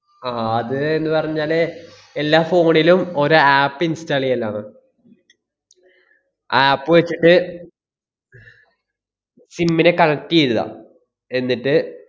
ആഹ് അത്ന്ന് പറഞ്ഞാലേ എല്ലാ phone ലും ഒര് app install ഇയെല്ലാമ് ആ app വെച്ചിട്ട് sim നെ connect ചെയ്തതാ എന്നിട്ട്,